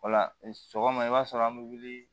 O la sɔgɔma i b'a sɔrɔ an bi wuli